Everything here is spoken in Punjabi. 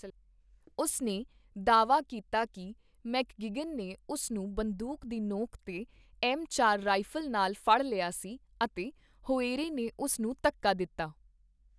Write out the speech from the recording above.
ਉਸ ਨੇ ਦਾਅਵਾ ਕੀਤਾ ਕੀ ਮੈਕਗਿਗਨ ਨੇ ਉਸ ਨੂੰ ਬੰਦੂਕ ਦੀ ਨੋਕ 'ਤੇ ਐੱਮ ਚਾਰ ਰਾਈਫ਼ਲ ਨਾਲ ਫੜ ਲਿਆ ਸੀ ਅਤੇ ਹੋਏਰੇ ਨੇ ਉਸ ਨੂੰ ਧੱਕਾ ਦਿੱਤਾ।